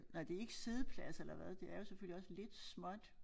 Nej det ikke siddepladser eller hvad det er jo selvfølgelig også lidt småt